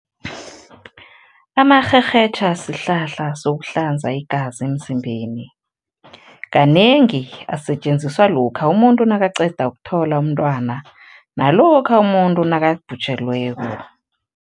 Amarherhetjha sihlahla sokuhlanza igazi emzimbeni. Kanengi asetjenziswa lokha umuntu nakaqeda ukuthola umntwana nalokha umuntu nakabhujelweko.